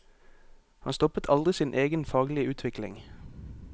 Han stoppet aldri sin egen faglige utvikling.